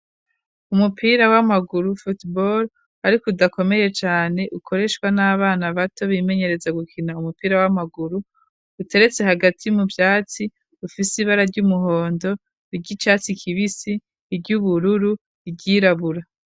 Umupira w'amaguru football ariko udakomeye cane ukoreshwa n'abana bato bimenyereza gukina umupira w'amaguru uteretse hagati mu vyatsi ufise ibara ry'umuhondo, ry'icatsi kibisi, iry'ubururu n'iryirabura.